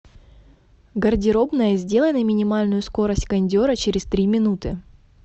гардеробная сделай на минимальную скорость кондера через три минуты